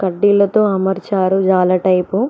కడ్డీలతో అమర్చారు రాళ్ల టైపు .